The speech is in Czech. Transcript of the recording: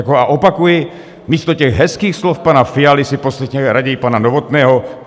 A opakuji, místo těch hezkých slov pana Fialy si poslechněme raději pana Novotného.